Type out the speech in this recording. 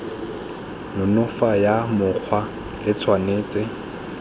nonofo ya mokgwa e tshwanetse